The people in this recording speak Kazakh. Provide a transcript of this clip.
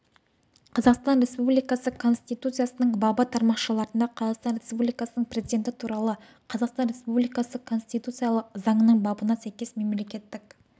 қазақстан республикасы конституциясының бабы тармақшаларына қазақстан республикасының президенті туралы қазақстан республикасы конституциялық заңының бабына сәйкес мемлекеттік